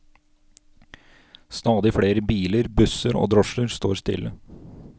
Stadig flere biler, busser og drosjer står stille.